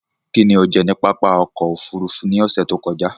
Kín ni o jẹ ní pápá oko-òfurufú ní ọ̀sẹ̀ tí ó kọjá?